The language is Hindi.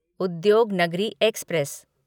उद्योगनगरी एक्सप्रेस